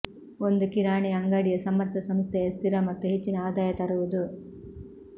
ಒಂದು ಕಿರಾಣಿ ಅಂಗಡಿಯ ಸಮರ್ಥ ಸಂಸ್ಥೆಯ ಸ್ಥಿರ ಮತ್ತು ಹೆಚ್ಚಿನ ಆದಾಯ ತರುವುದು